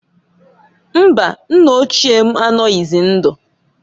Mbaǃ Nna ochie m anoghizi ndụ.